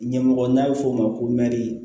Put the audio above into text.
Ɲɛmɔgɔ n'a bɛ fɔ o ma ko